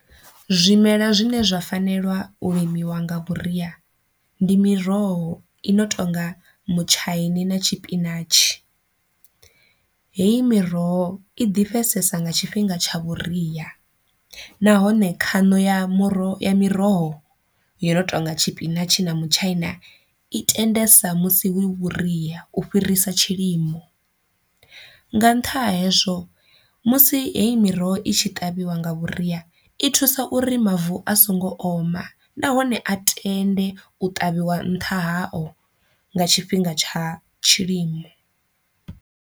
Zwimela zwine zwa fanelwa u limiwa nga vhuria ndi miroho i no tonga mutshaini na tshipinatshi, heyi miroho i ḓifhesesa nga tshifhinga tsha vhuria, nahone khano ya muroho ya miroho yono tonga tshipinatshi na mutshaina i tendisa musi hu vhuria u fhirisa tshilimo, nga nṱhani ha hezwo musi heyi miroho i tshi ṱavhiwa nga vhuria i thusa uri mavu a songo oma nahone a tende u ṱavhiwa nṱha hao nga tshifhinga tsha tshilimo.